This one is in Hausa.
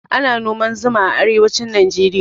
Ana noman zuma a arewacin najeriya